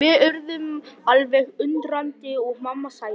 Við urðum alveg undrandi og mamma sagði.